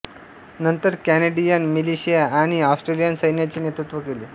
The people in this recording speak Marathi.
नंतर कॅनेडियन मिलिशिया आणि ऑस्ट्रेलियन सैन्याचे नेत्रुत्व केले